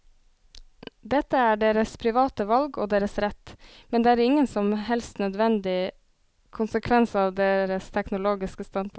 Dette er deres private valg og deres rett, men det er ingen som helst nødvendig konsekvens av deres teologiske standpunkt.